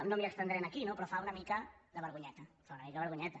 no m’hi estendré aquí no però fa una mica de vergonyeta fa una mica de vergonyeta